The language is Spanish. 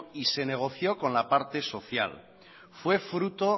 y se negoció con la parte social fue fruto